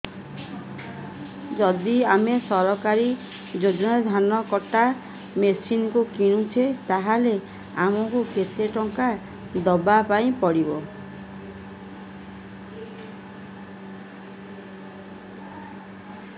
ଯଦି ଆମେ ସରକାରୀ ଯୋଜନାରେ ଧାନ କଟା ମେସିନ୍ କିଣୁଛେ ତାହାଲେ ଆମକୁ କେତେ ଟଙ୍କା ଦବାପାଇଁ ପଡିବ